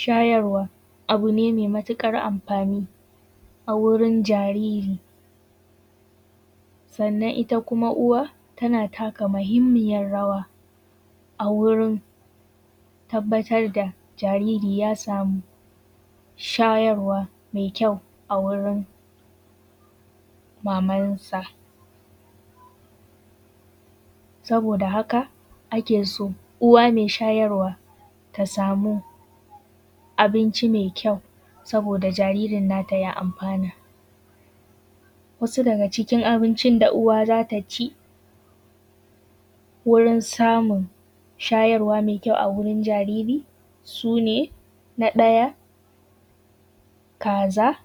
Shayarwa abu ne mai matukar amfani a wurin jariri. Sannan ita kuma uwa tana taka mahimmiyan rawa a wurin tabbatar da jariri ya samu shayarwa mai kyau a wurin mamansa. Saboda haka ake so uwa mai shayarwa ta samu abinci mai kyau, saboda jaririn na ta ya amfana. Wasu daga cikin abincin da uwa za ta ci wurin samun shayarwa mai kyau a wurin jariri sune, na ɗaya kaza,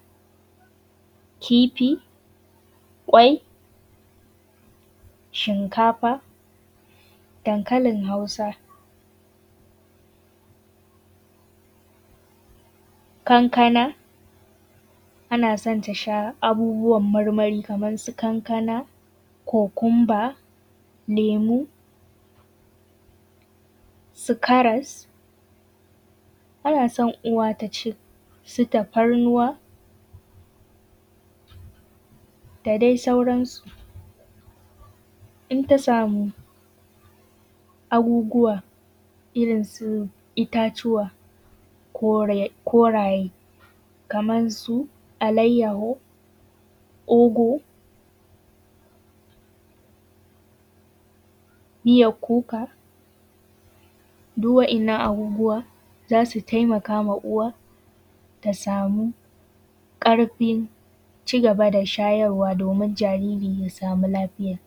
kifi, kwai, shinkafa, dankalin hausa, kankana. Ana so ta sha abubuwan marmari kaman su kankana kokunba, lemu, su karas. Ana so uwa ta ci su tafarnuwa da dai sauransu in ta samu abubuwa irin su itatuwa koraye, kaman su alaiyahu, ugu, miyar kuka duk wa'innan abubuwa zasu taimaka ma uwa tasamu karfin cigaba da shayarwa domin jariri yasamu lafiya.